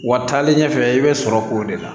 Wa taalen ɲɛfɛ i bɛ sɔrɔ k'o de la